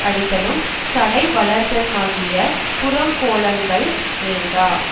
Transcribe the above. அடித்தலும் சடை வளர்தலுமாகிய புறங்கோலங்கள் வேண்டா